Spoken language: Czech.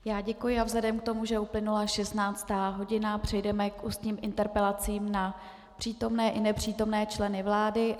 Já děkuji a vzhledem k tomu, že uplynula 16. hodina, přejdeme k ústním interpelacím na přítomné i nepřítomné členy vlády.